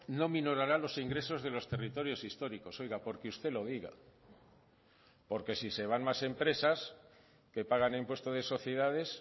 no minorará los ingresos de los territorios históricos oiga porque usted lo diga porque si se van más empresas que pagan impuesto de sociedades